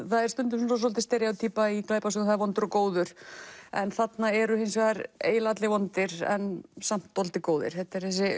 það er stundum svolítil í glæpasögum vondur og góður en þarna eru eiginlega allir vondir en samt dálítið góðir þetta er þessi